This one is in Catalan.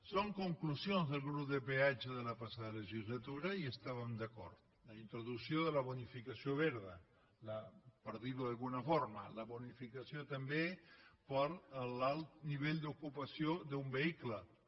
són conclusions del grup de peatge de la passada legislatura i hi estàvem d’acord en la introducció de la bonificació verda per dir ho d’alguna forma la bonificació també per l’alt nivell d’ocupació d’un vehicle també